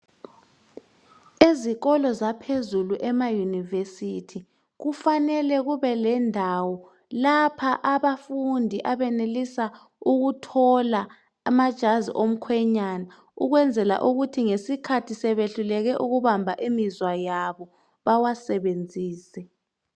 Ezikolo zaphezulu ema university kufanele kube lendawo lapha abafundi abenelisa ukuthola amajazi omkhwenyana ukwenzela ukuthi ngesikhathi sebehluleke ukubamba imizwa yabo bawasebenzise.